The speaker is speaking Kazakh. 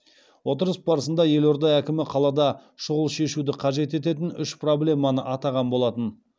отырыс барысында елорда әкімі қалада шұғыл шешуді қажет ететін үш проблеманы атаған болатын